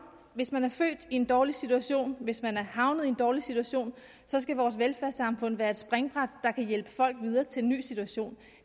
hvis man er født i en dårlig situation hvis man er havnet i en dårlig situation så skal vores velfærdssamfund være et springbræt der kan hjælpe folk videre til en ny situation